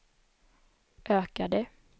ökade